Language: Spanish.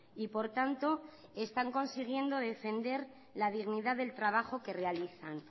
y por tanto están consiguiendo defender la dignidad del trabajo que realizan